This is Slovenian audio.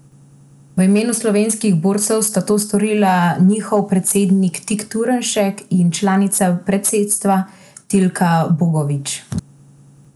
V imenu slovenskih borcev sta to storila njihov predsednik Tit Turnšek in članica predsedstva Tilka Bogovič.